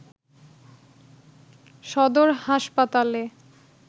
সদর হাসপাতালে